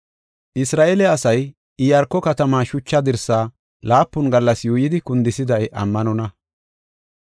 Isra7eele asay Iyaarko katamaa shucha dirsaa laapun gallas yuuyidi, kundisiday ammanonna.